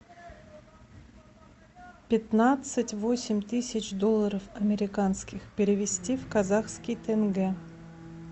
пятнадцать восемь тысяч долларов американских перевести в казахские тенге